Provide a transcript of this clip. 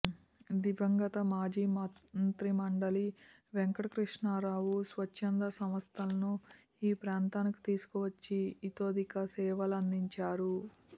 దివంగత మాజీ మంత్రి మండలి వెంకటకృష్ణారావు స్వచ్చంద సంస్ధలను ఈ ప్రాంతానికి తీసుకు వచ్చి ఇతోదిక సేవలందించారు